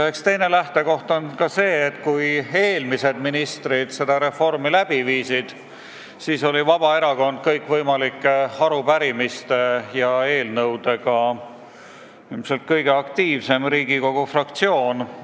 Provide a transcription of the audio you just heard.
Meie teine lähtekoht on see, et kui eelmised ministrid seda reformi ellu viisid, siis oli Vabaerakond kõikvõimalike arupärimiste ja eelnõudega ilmselt kõige aktiivsem Riigikogu fraktsioon.